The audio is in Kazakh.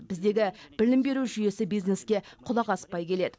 біздегі білім беру жүйесі бизнеске құлақ аспай келеді